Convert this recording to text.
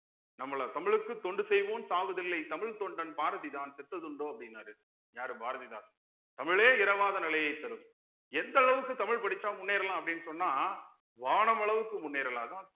நம்மள தமிழுக்கு தொண்டு செய்வோம் சாவுதில்லை தமிழ் தொண்டன் பாரதிதான் செத்தது உண்டோ அப்படின்னாரு யாரு பாரதிதாசன் தமிழே இறவாத நிலையை தரும் எந்த அளவுக்கு தமிழ் படிச்சா முன்னேறலாம் அப்படீன்னு சொன்னா வானம் அளவுக்கு முன்னேறலாம்